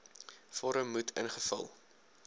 vorm moet ingevul